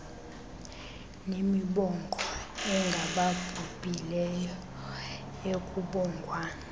nemibongo engababhubhileyo ekubongwa